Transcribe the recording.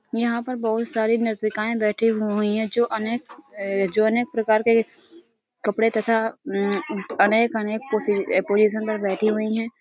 यहाँ पर बहुत सारी नतृकाये बैठी हुई हैं जो अनेक अ जो अनेक प्रकार के कपड़े तथा अम्म अनेक अनेक पोसि पोजिशन पर बैठी हुई हैं ।